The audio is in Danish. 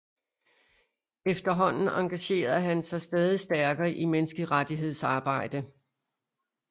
Efterhånden engagerede han sig stadig stærkere i menneskerettighedsarbejde